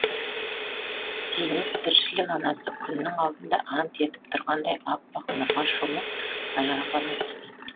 зейнеп тіршілік анасы күннің алдында ант етіп тұрғандай аппақ нұрға шомып ажарлана түсті